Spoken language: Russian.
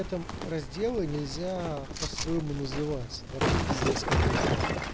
этом разделы нельзя по свойму называть вообще пиздец какой то